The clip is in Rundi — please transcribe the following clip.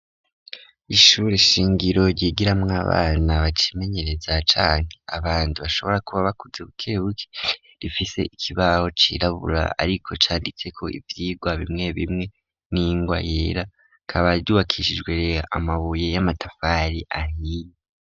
Ishure shingiro ryigiramwo abana bacimenyereza canke abantu bashobora kuba bakuze bukebuke rifise ikibaho cirabura ariko canditse ko ivyigwa bimwe bimwe n'ingwa yera rikaba ryubakishijwe amabuye y'amatafari ahiye.